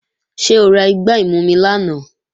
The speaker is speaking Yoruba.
Ṣé o ra igbá ìmumi lánàá?